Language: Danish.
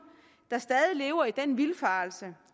der stadig lever i den vildfarelse